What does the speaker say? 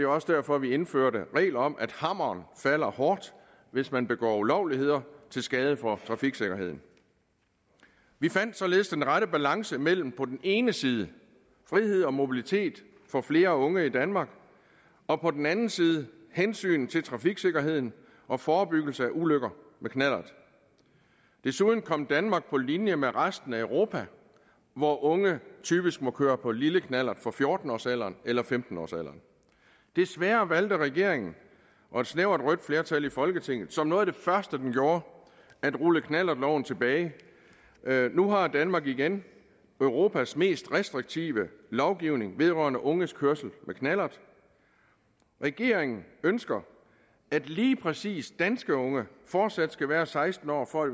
også derfor vi indførte regler om at hammeren falder hårdt hvis man begår ulovligheder til skade for trafiksikkerheden vi fandt således den rette balance mellem på den ene side frihed og mobilitet for flere unge i danmark og på den anden side hensynet til trafiksikkerheden og forebyggelse af ulykker med knallert desuden kom danmark på linje med resten af europa hvor unge typisk må køre på lille knallert fra fjorten årsalderen eller femten årsalderen desværre valgte regeringen og et snævert rødt flertal i folketinget som noget af det første den gjorde at rulle knallertloven tilbage nu har danmark igen europas mest restriktive lovgivning vedrørende unges kørsel med knallert regeringen ønsker at lige præcis danske unge fortsat skal være seksten år for at